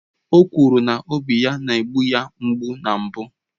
O kwuru na obi ya na-egbu ya mgbu na mbụ